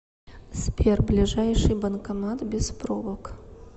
сбер ближайший банкомат без пробок